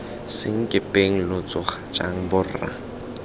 senkepeng lo tsoga jang borra